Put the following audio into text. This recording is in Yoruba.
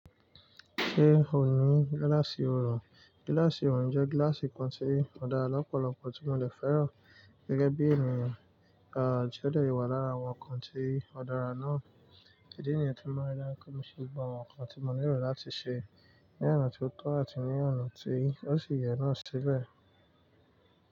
Ṣé o ní gíláàsì oorun? Gíláàsì oorun jẹ́ gíláàsì kan tí ò dára lọ́pọ̀lọpọ̀ tí mo dè fẹ́ràn gẹ́gẹ́ bí ènìyàn, à tí ó lè wà lára àwọn nǹkan tí ó dára náà. Ẹ̀dí nìyen tí mo maa ri dáju pe mò ṣe gbogbo àwọn nǹkan tí mo feran láti ṣe ní ọ̀nà ti ótọ́ àti ní ọ̀nà tí ó sì yẹ náà síbẹ̀.